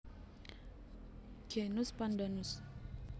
Genus Pandanus